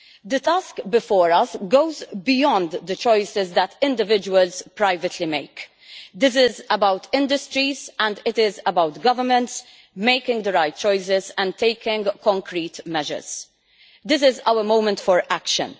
The task before us goes beyond the choices that individuals privately make. This is about industries and it is about governments making the right choices and taking concrete measures. This is our moment for action.